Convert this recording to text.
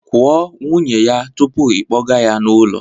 Kwuo nwunye ya tupu ị kpọga ya n'ụlọ